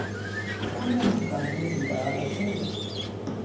uneemagazini ezindala cela